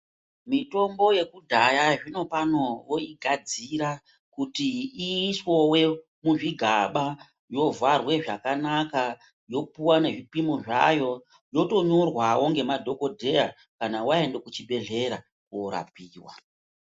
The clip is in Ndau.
Mitombo yekudhaya, zvinopano voigadzira kuti iiswewe muzvigaba, yovharwe zvakanaka yopimwa ngezvipimo zvayo, yotonyorwawo ngemadhokodheya kana waenda kuchibhedhleya koorapiwa.